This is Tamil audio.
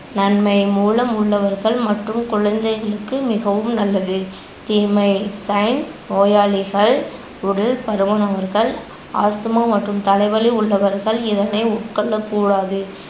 நன்மை மூலம் உள்ளவர்கள் மற்றும் குழந்தைகளுக்கு மிகவும் நல்லது. தீமை நோயாளிகள், உடல் பருமன் அவர்கள், ஆஸ்துமா மற்றும் தலைவலி உள்ளவர்கள் இதனை உட்கொள்ளகூடாது